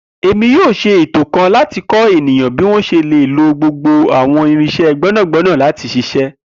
Emi yoo ṣeto eto kan lati kọ eniyan bi wọn ṣe le lo gbogbo awọn irinṣẹ gbẹnagbẹna lati ṣiṣẹ.